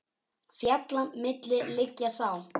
Fjalla milli liggja sá.